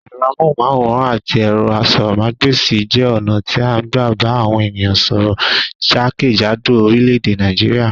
Ẹ̀rọ amóhùnmáwòràn àti ẹ̀rọ asọ́rọ̀ mágbèsi jẹ́ ọ̀nà tí a n gbà bà àwọn ènìyàn sọ́rọ́ jákèjádò oríléèdè Nàìjíríà